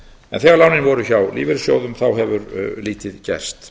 en þegar lánin voru hjá lífeyrissjóðum hefur lítið gerst